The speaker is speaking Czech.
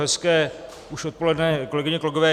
Hezké už odpoledne, kolegyně, kolegové.